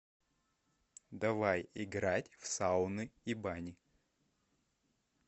давай играть в сауны и бани